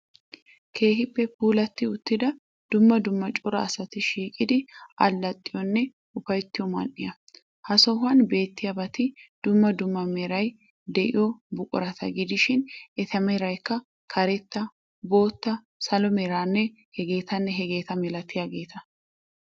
Keehippe puulatti uttidanne dumma dumma cora asati shiqidi allaxxiyonne upayttiyo man"iya. Ha sohuwaan beettiyabati dumma dumma meray de'iyo buqurata gidishin eta meraykka karetta, bootta, salo meranne hageetanne hageeta milatiyageeta.